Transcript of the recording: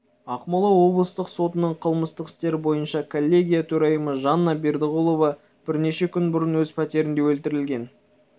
ақмола облыстық сотының қылмыстық істер бойынша коллегия төрайымы жанна бердіғұлова бірнеше күн бұрын өз пәтерінде өлтірілген